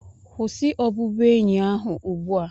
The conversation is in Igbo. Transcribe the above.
kwụsị obubuenyi ahụ ugbu a!